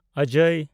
ᱚᱡᱚᱭ